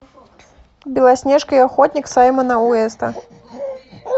белоснежка и охотник саймона уэста